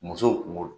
Musow kungolo